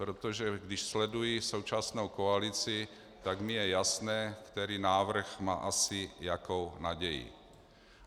Protože když sleduji současnou koalici, tak mi je jasné, který návrh má asi jakou naději.